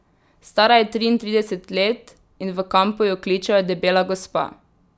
Stara je triintrideset let in v kampu jo kličejo Debela gospa.